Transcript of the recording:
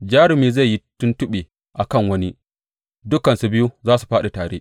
Jarumi zai yi tuntuɓe a kan wani; dukansu biyu za su fāɗi tare.